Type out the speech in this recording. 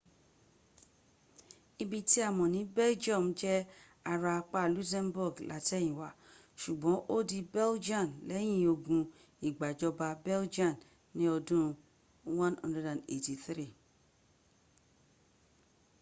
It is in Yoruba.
ibi tí a mọ̀ ní belgium jẹ́ ara apá luxembourg látẹ̀yìnwá sùgbọ́n ó di belgian lẹ́yìn ogun ìgbàjọba belgian ní ọdún 183